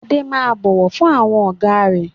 Adé máa bọ̀wọ̀ fún àwọn Ọ̀gá rẹ